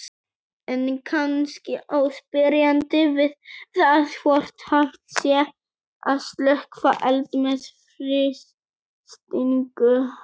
En kannski á spyrjandi við það hvort hægt sé að slökkva eld með frystingu.